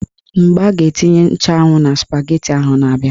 Mgbe a ga-etinye nchụanwụ na spageti ahụ na-abia